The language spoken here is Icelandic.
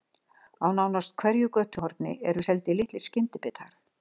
Á nánast hverju götuhorni eru seldir litlir skyndibitar.